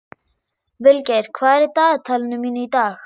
Vilgeir, hvað er í dagatalinu mínu í dag?